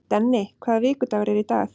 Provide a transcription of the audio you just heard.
Denni, hvaða vikudagur er í dag?